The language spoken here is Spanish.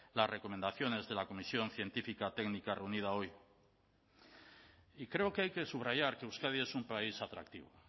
las recomendaciones de la comisión científica técnica reunida hoy y creo que hay que subrayar que euskadi es un país atractivo